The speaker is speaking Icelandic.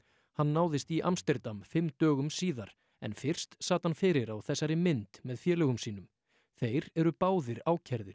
hann náðist í Amsterdam fimm dögum síðar en fyrst sat hann fyrir á þessari mynd með félögum sínum þeir eru báðir ákærðir